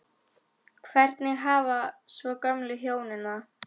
Hvernig hafa svo gömlu hjónin það?